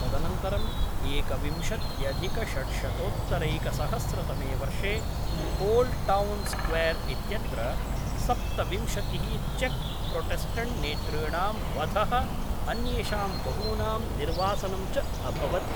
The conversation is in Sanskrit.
तदनन्तरं एकविंशत्यधिकषड्शतोत्तरैकसहस्रतमे वर्षे ओल्ड् टौन् स्क्वेर् इत्यत्र सप्तविंशतिः चेक् प्रोटेस्टन्ट् नेतॄणां वधः अन्येषां बहूनां निर्वासनं च अभवत्।